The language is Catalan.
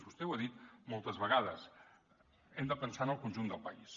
vostè ho ha dit moltes vegades hem de pensar en el conjunt del país